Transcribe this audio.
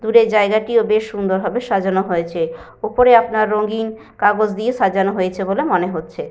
দূরের জায়গাটিও বেশ সুন্দরভাবে সাজানো হয়েছে। ওপরে আপনার রঙিন কাগজ দিয়ে সাজানো হয়েছে বলে মনে হচ্ছে।